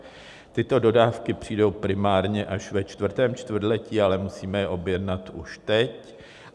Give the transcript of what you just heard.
Tyto dodávky přijdou primárně až ve čtvrtém čtvrtletí, ale musíme je objednat už teď.